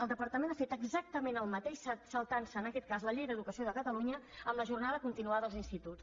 el departament ha fet exactament el mateix saltant se en aquest cas la llei d’educació de catalunya amb la jornada continuada als instituts